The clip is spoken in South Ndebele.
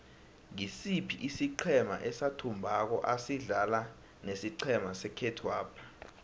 ngisiphi isiqhema esathumbako asidlala nesiqhema sekhethwapha